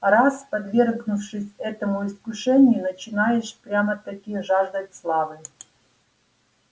раз подвергшись этому искушению начинаешь прямо-таки жаждать славы